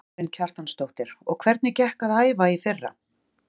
Karen Kjartansdóttir: Og hvernig gekk að æfa í fyrra?